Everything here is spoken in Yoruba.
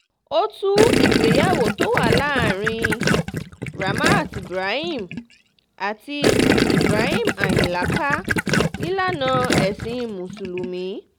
ó tú ìgbéyàwó tó wà láàrin ramat ibrahim àti ibrahim ayinla ká nílànà ẹ̀sìn mùsùlùmí